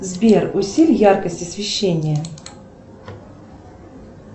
сбер усиль яркость освещения